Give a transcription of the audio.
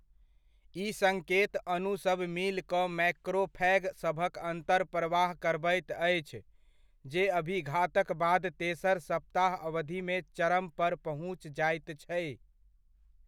ई सङ्केत अणु सब मिल कऽ मैक्रोफैग सभक अन्तर्प्रवाह करबैत अछि जे अभिघातक बाद तेसर सप्ताह अवधिमे चरम पर पहुँच जाइत छै।